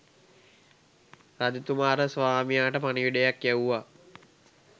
රජතුමා අර ස්වාමියාට පණිවිඩයක් යැව්වා